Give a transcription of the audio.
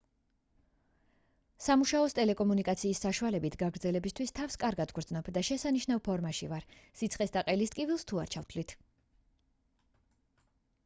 სამუშაოს ტელეკომუნიკაციის საშუალებით გაგრძელებისთვის თავს კარგად ვგრძნობ და შესანიშნავ ფორმაში ვარ სიცხეს და ყელის ტკივილს თუ არ ჩავთვლით